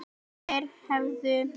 Þeir hefðu